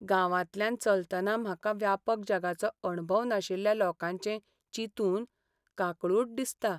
गांवतल्यान चलतना म्हाका व्यापक जगाचो अणभव नाशिल्ल्या लोकांचें चिंतून काकुळट दिसता.